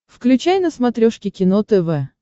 включай на смотрешке кино тв